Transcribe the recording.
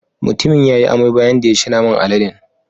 Mutumin ya yi amai bayan da ya ci naman aladen.